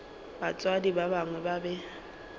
batswadi ba gagwe ba be